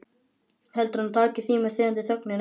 Heldurðu að hann taki því með þegjandi þögninni?